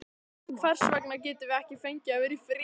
Hvers vegna getum við ekki fengið að vera í friði?